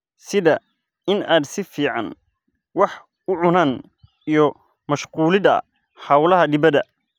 sida in aad si fiican wax u cunaan iyo ku mashquulida hawlaha dibadda.